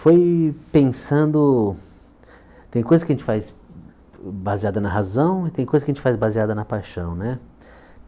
Foi pensando... Tem coisa que a gente faz baseada na razão e tem coisa que a gente faz baseada na paixão né.